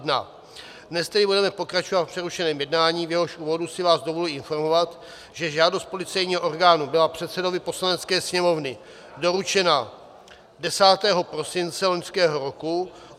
Dnes tedy budeme pokračovat v přerušeném jednání, v jehož úvodu si vás dovolím informovat, že žádost policejního orgánu byla předsedovi Poslanecké sněmovny doručena 10. prosince loňského roku.